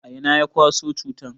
A'ina ya kwaso cutan?